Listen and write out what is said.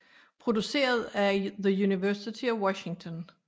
Produceret af The University of Washington